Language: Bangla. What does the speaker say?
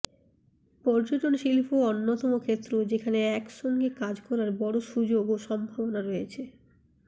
পর্যটন শিল্প অন্যতম ক্ষেত্র যেখানে একসঙ্গে কাজ করার বড় সুযোগ ও সম্ভাবনা রয়েছে